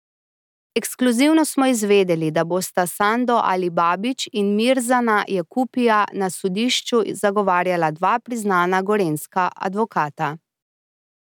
Ekskluzivno smo izvedeli, da bosta Sando Alibabić in Mirzana Jakupija na sodišču zagovarjala dva priznana gorenjska advokata.